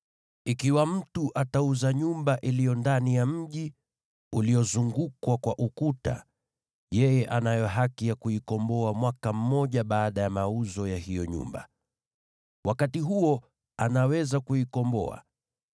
“ ‘Ikiwa mtu atauza nyumba iliyo ndani ya mji uliozungukwa kwa ukuta, yeye anayo haki ya kuikomboa mwaka mzima baada ya mauzo ya hiyo nyumba. Wakati huo anaweza kuikomboa.